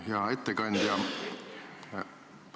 Hea ettekandja!